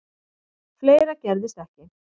Fleira gerðist ekki.